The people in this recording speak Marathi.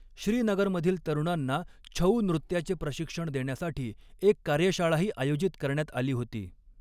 श्रीनगरमधील तरुणांना छऊ नृत्याचे प्रशिक्षण देण्यासाठी एक कार्यशाळाही आयोजित करण्यात आली होती.